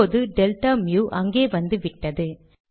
இப்போது டெல்டா மு அங்கே வந்துவிட்டது